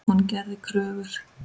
Hún gerði kröfur.